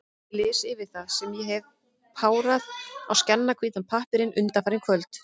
Ég les yfir það, sem ég hef párað á skjannahvítan pappírinn undanfarin kvöld.